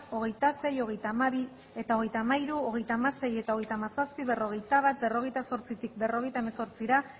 hogeita sei hogeita hamabi eta hogeita hamairu hogeita hamasei eta hogeita hamazazpi berrogeita bat berrogeita zortzitik berrogeita hemezortzira